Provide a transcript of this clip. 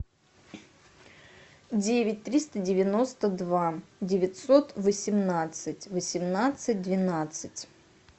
девять триста девяносто два девятьсот восемнадцать восемнадцать двенадцать